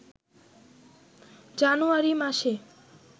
জানুয়ারি মাসে